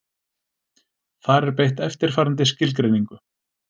Þar er beitt eftirfarandi skilgreiningu: